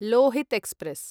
Lohit express